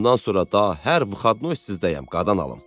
"Bundan sonra daha hər 'vıxadnoy' sizdəyəm, qadan alım."